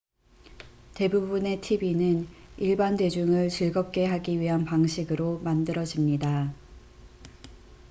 대부분의 tv는 일반 대중을 즐겁게 하기 위한 방식으로 만들어집니다